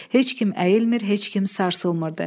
Heç kim əyilmir, heç kim sarsılmırdı.